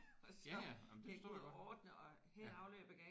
Ja ja jamen det forstår jeg godt